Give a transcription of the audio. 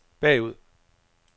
bagud